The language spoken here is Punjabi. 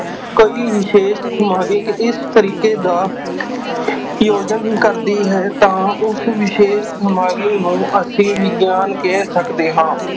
ਕੋਈ ਵਿਸ਼ੇਸ਼ ਸਮਾਜਕ ਇਸ ਤਰੀਕੇ ਦਾ ਯੋਜਨ ਕਰਦੀ ਹੈ ਤਾਂ ਉਸ ਵਿਸ਼ੇਸ਼ ਨੂੰ ਅਸੀਂ ਵਿਗਿਆਨ ਕਹਿ ਸਕਦੇ ਹਾਂ।